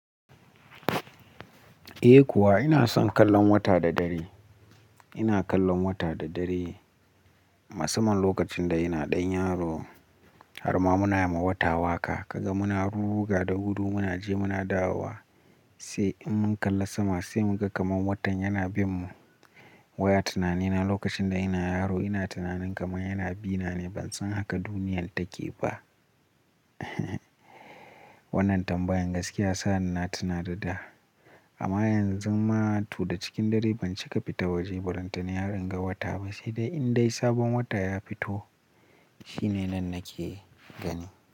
Eh kuwa ina son kallon wata da dare. Ina kallon wata da dare. Musamman lokacin da ina ɗan yaro har ma muna yi ma wata waƙa. Kaga muna ruga da gudu, muna je muna dawowa, sai in mun kalla sama sai muka kaman watan yana bin mu. Wai a tunanina lokacin da ina yaro ina tunanin kaman yana bi na ne ban san haka duniyar take ba. Wannan tambayan gaskiya ya sani na tunada da. Amma yanzu ma to da cikin dare ban cika fita waje ballantana har in ga wata ba, sai dai in dai sabon wata ya fito shine nan nake gani.